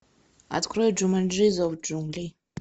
открой джуманджи зов джунглей